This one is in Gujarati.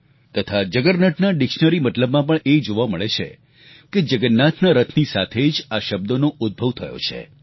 તથા આ જગરનટના ડિક્શનરી મતલબમાં પણ એ જોવા મળે છે કે જગન્નાથના રથની સાથે જ આ શબ્દનો ઉદભવ થયો છે